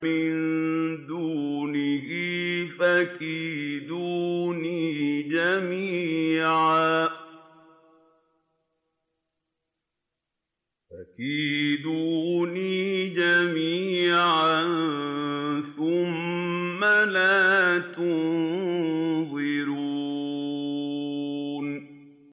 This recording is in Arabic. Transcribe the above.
مِن دُونِهِ ۖ فَكِيدُونِي جَمِيعًا ثُمَّ لَا تُنظِرُونِ